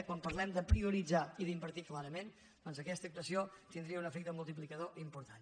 quan parlem de prioritzar i d’invertir clarament doncs aquesta actuació tindria un efecte multiplicador important